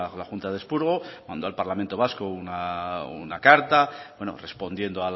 la junta de expurgo mando al parlamento vasco una carta bueno respondiendo